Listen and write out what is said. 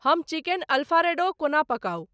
हम chicken alfredo कोना पकाऊ